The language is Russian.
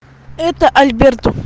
это альберт